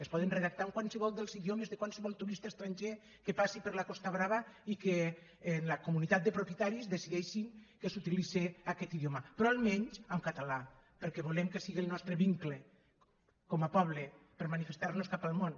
es poden redactar en qualsevol dels idiomes de qualsevol turista estranger que passi per la costa brava i que en la comunitat de propietaris decideixin que s’utilitzi aquest idioma però almenys en català perquè volem que sigui el nostre vincle com a poble per a manifestar nos cap al món